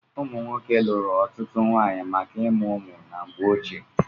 Ụmụ nwoke lụrụ ọtụtụ nwaanyị maka ịmụ ụmụ na mgbe ochie.